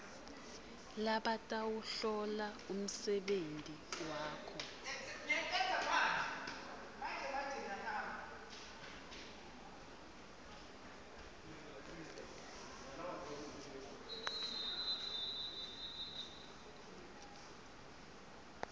labatawuhlola umsebenti wakho